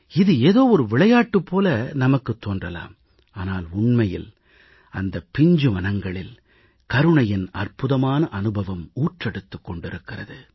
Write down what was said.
இது ஏதோ ஒரு விளையாட்டுப் போல நமக்குத் தோன்றலாம் ஆனால் உண்மையில் அந்தப் பிஞ்சு மனங்களில் கருணையின் அற்புதமான அனுபவம் ஊற்றெடுத்துக் கொண்டிருக்கிறது